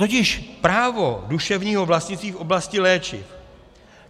Totiž právo duševního vlastnictví v oblasti léčiv.